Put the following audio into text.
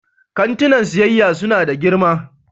Kantinan siyayya suna da girma